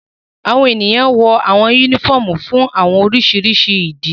Awọn eniyan wọ awọn unifọmú fun awọn oriṣiriṣi idi